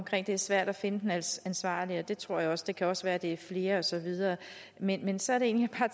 det er svært at finde den ansvarlige det tror jeg også det kan også være at der er flere og så videre men men så er det egentlig at